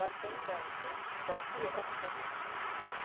Mas foi engano, foi para pior.